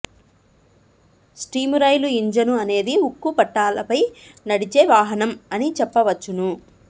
steam రైలు engine అనేది ఉక్కు పట్టాలపై నడిచే వాహనం అనిచెప్పవచ్చును